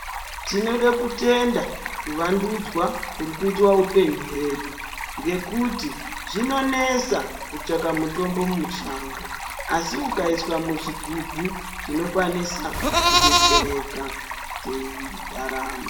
Tinode kutenda kuvandudzwa kutikuitwea upenyu hwedu ngekuti zvinonesa kutsvake mutombo mushango asi ukaiswa muzvigubhu tinokwanisa kudetsereka teirarama.